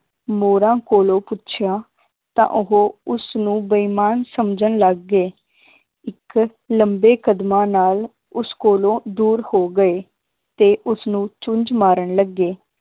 ਮੋਰਾਂ ਕੋਲੋਂ ਪੁੱਛਿਆ ਤਾਂ ਉਹ ਉਸਨੂੰ ਬੇਈਮਾਨ ਸਮਝਣ ਲੱਗ ਗਏ ਇੱਕ ਲੰਬੇ ਕਦਮਾਂ ਨਾਲ ਉਸ ਕੋਲੋਂ ਦੂਰ ਹੋ ਗਏ ਤੇ ਉਸਨੂੰ ਚੁੰਜ ਮਾਰਨ ਲੱਗੇ